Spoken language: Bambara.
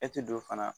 E ti don fana